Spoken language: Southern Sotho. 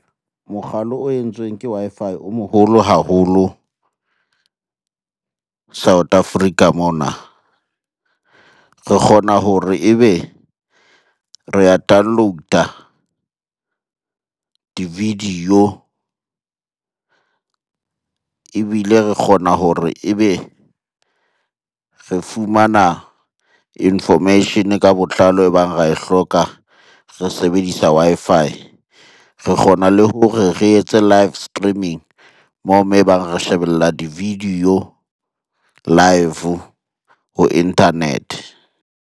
Mokgalo o entsweng ke Wi-Fi o moholo haholo South Africa mona. Re kgona hore ebe re ya download-a di-video, ebile re kgona hore ebe re fumana information-e ka botlalo e bang ra e hloka re sebedisa Wi-Fi. Re kgona le hore re etse live streaming moo ebang re shebella di-video live ho internet-e.